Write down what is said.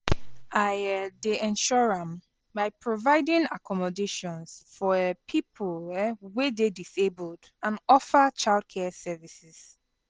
I um dey ensure am by providing accommodations for um people um wey dey disabled and offer childcare services.